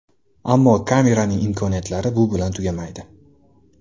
Ammo kameraning imkoniyatlari bu bilan tugamaydi.